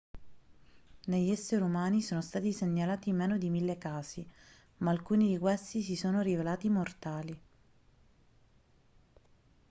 negli esseri umani sono stati segnalati meno di mille casi ma alcuni di questi si sono rivelati mortali